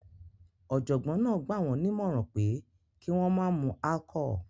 Ọ̀jọ̀gbọ́n náà gbà wọ́n nímọ̀ràn pé kí wọ́n má mu alchol